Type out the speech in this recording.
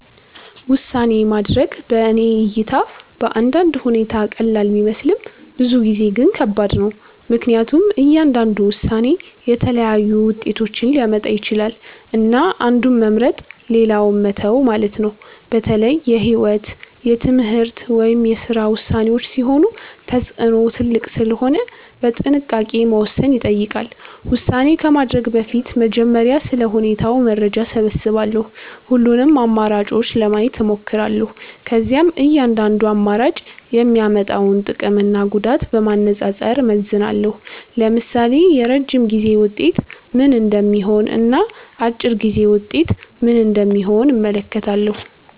ውሳኔ ማድረግ በእኔ እይታ በአንዳንድ ሁኔታ ቀላል ቢመስልም ብዙ ጊዜ ግን ከባድ ነው። ምክንያቱም እያንዳንዱ ውሳኔ የተለያዩ ውጤቶችን ሊያመጣ ይችላል፣ እና አንዱን መምረጥ ሌላውን መተው ማለት ነው። በተለይ የህይወት፣ የትምህርት ወይም የስራ ውሳኔዎች ሲሆኑ ተጽዕኖው ትልቅ ስለሆነ በጥንቃቄ መወሰን ይጠይቃል። ውሳኔ ከማድረግ በፊት በመጀመሪያ ስለ ሁኔታው መረጃ እሰብስባለሁ። ሁሉንም አማራጮች ለማየት እሞክራለሁ። ከዚያም እያንዳንዱ አማራጭ የሚያመጣውን ጥቅምና ጉዳት በማነጻጸር እመዝናለሁ። ለምሳሌ የረጅም ጊዜ ውጤት ምን እንደሚሆን እና አጭር ጊዜ ውጤት ምን እንደሚሆን እመለከታለሁ።